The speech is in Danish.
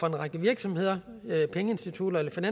række virksomheder pengeinstitutter eller